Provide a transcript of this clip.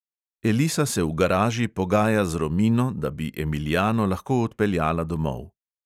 Elisa se v garaži pogaja z romino, da bi emiliano lahko odpeljala domov.